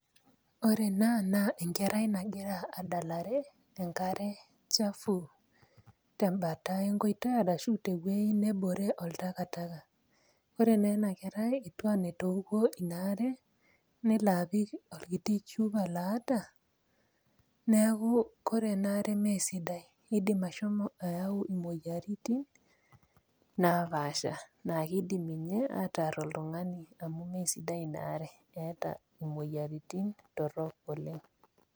Ore ena naa enkerai nagira adalare enkare chafu tembata enkoitoi arashu tewuei nebore oltakataka. Ore neena kerai etiu anaa etooko inaare nelaapik olkiti chupa loata neaku kore enaare meesidai eidim ashomo ayau imoyaritin naapaasha naakeidim ninye aatarr oltung'ani amu meesidai inaare eata imoyaritin torrok oleng'.